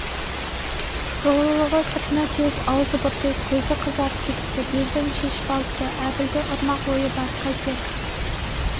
долылығы сыртына теуіп аузы бұртиып көзі қызарып кетіпті белдігін шешіп алыпты әбілді ұрмақ ойы бар қайтер